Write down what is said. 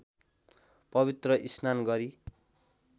पवित्र स्नान गरी